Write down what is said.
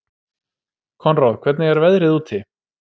Konráð, hvernig er veðrið úti?